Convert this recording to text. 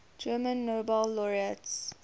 german nobel laureates